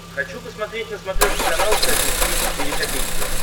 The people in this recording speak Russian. хочу посмотреть на смотрешке канал фэшн ти ви четыре ка